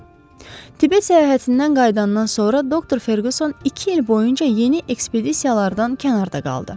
Tibet səyahətindən qayıdandan sonra doktor Ferquson iki il boyu yeni ekspedisiyalardan kənarda qaldı.